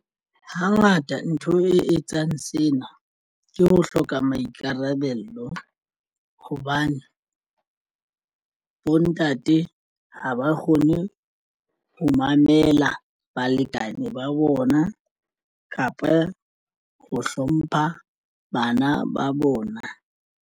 Hangata ntho e etsang sena ke ho hloka maikarabelo hobane bontate ha ba kgone ho mamela balekane ba bona kapa ho hlompha bana ba bona.